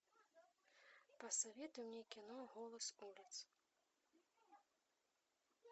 посоветуй мне кино голос улиц